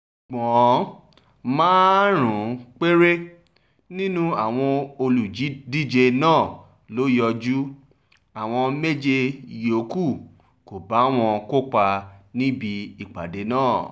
ṣùgbọ́n márùn-ún péré nínú àwọn olùdíje náà ló yọjú àwọn méje yòókù kó bá wọn kópa níbi ìpàdé náà